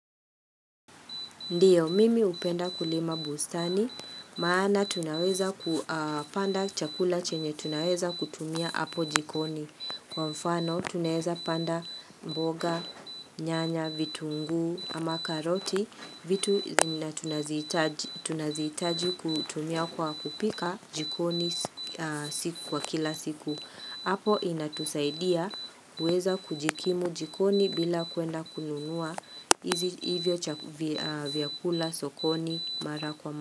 Ndiyo, mimi hupenda kulima bustani, maana tunaweza kupanda chakula chenye tunaweza kutumia hapo jikoni. Kwa mfano, tunaweza panda mboga, nyanya, vitungu, ama karoti, vitu zenye tunazitaji kutumia kwa kupika jikoni kwa kila siku. Apo inatusaidia kuweza kujikimu jikoni bila kwenda kununua hivyo vyakula sokoni mara kwa mara.